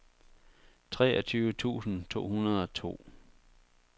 treogtyve tusind to hundrede og to